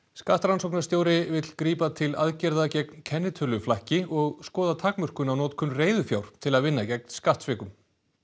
skattrannsóknarstjóri vill grípa til aðgerða gegn kennitöluflakki og skoða takmörkun á notkun reiðufjár til að vinna gegn skattsvikum